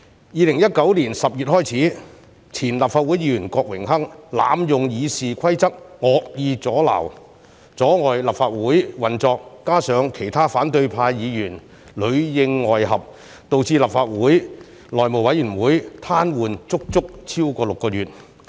2019年10月開始，前立法會議員郭榮鏗濫用《議事規則》惡意阻撓、阻礙立法會運作，加上其他反對派議員裏應外合，導致立法會內務委員會癱瘓足足超過6個月。